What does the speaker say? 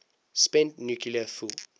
spent nuclear fuel